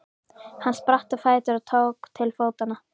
Hann spratt á fætur og tók til fótanna.